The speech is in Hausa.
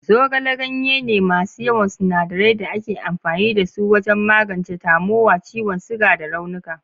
Zogale ganye ne masu yawan sinadirai da ake amfani da su wajen magance tamowa, ciwon suga, da raunuka.